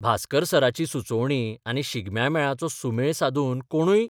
भास्कर सराची सुचोवणी आनी शिगम्यां मेळाचो सुमेळ सादून कोणूय